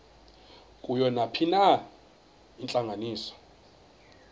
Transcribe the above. kuyo nayiphina intlanganiso